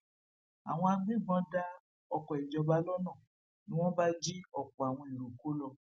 àwọn agbébọn dá oko ìjọba lọnà ni wọn bá jí ọpọ àwọn èrò kó lọ